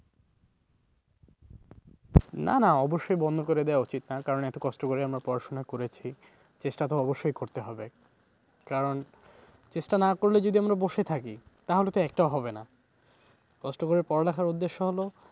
না না অবশ্যই বন্ধ করে দেওয়া উচিৎ না কারণ এত কষ্ট করে আমরা পড়াশোনা করছি চেষ্টা তো অবশ্যই করতে হবে। কারণ চেষ্টা না করলে যদি আমরা বসে থাকি তাহলে তো একটাও হবে না। কষ্ট করে পড়ালেখার উদ্দেশ্য হলো,